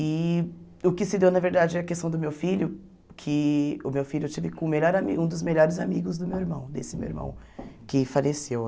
E o que se deu, na verdade, é a questão do meu filho, que o meu filho eu tive com o melhor amigo um dos melhores amigos do meu irmão, desse meu irmão, que faleceu.